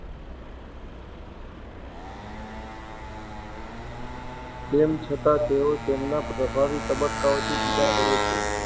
તેમ છતાં, તેઓ તેમના પ્રભાવી તબક્કાઓથી જુદી પડે છે.